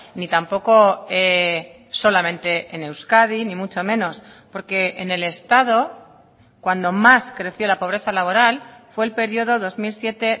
ni tampoco solamente en euskadi ni mucho menos porque en el estado cuando más creció la pobreza laboral fue el periodo dos mil siete